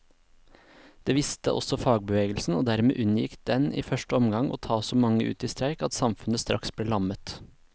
Det visste også fagbevegelsen, og dermed unngikk den i første omgang å ta så mange ut i streik at samfunnet straks ble lammet.